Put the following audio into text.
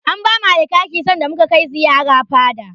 An bamu Alkaki sanda muka kai ziyara fada.